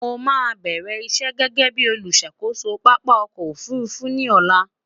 mó má bẹrẹ iṣé gégé bí oluṣàkoso pápá ọkọ òfurufú ní ọlá